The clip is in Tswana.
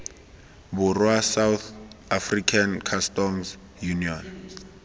borwa south african customs union